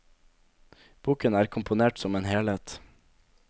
Boken er komponert som en helhet.